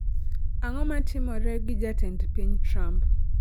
ang'o matimore gi jatend piny Trump